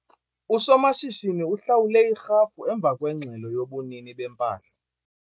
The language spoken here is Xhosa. Usomashishini uhlawule irhafu emva kwengxelo yobunini bempahla.